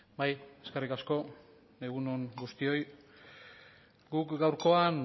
bai eskerrik asko egun on guztioi guk gaurkoan